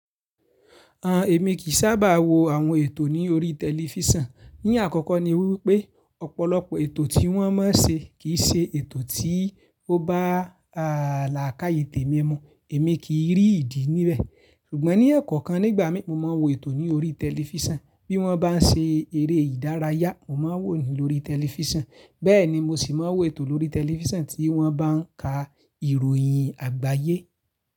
Èmi kì í sábà wo àwọn ètò ní orí tẹlifísàn. Ní àkọ́kọ́ ni wípé ọ̀pọ̀lọpọ̀ ètò tí wọ́n ma ń ṣe kì í ṣe ètò tí ó bá lààkáyé tèmi mu, èmi kì í rí ìdí ní bẹ̀. Ṣùgbọ́n ní ẹ̀kọ́ọkan nígbà mi, mo mọ n wo ètò ní orí tẹlifísàn. Bí wọ́n bá ń ṣe eré ìdárayá, mo mọ wò yẹn lórí tẹlifísàn. Bẹ́ẹ̀ ni mo sì máa wo ètò lórí tẹlifísàn tí wọ́n bá ń ka ìròyìn àgbáyé.